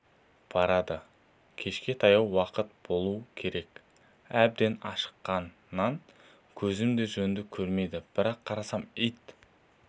барады кешке таяу уақыт болу керек әбден ашыққаннан көзім де жөнді көрмейді бір қарасам ит